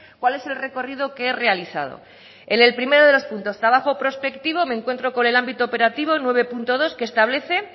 cuál es el recorrido que he realizado en el primero de los puntos trabajo prospectivo me encuentro con el ámbito operativo nueve punto dos que establece